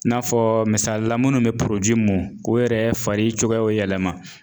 I n'a fɔ misali la minnu bɛ mun ko yɛrɛ fari cogoyaw yɛlɛma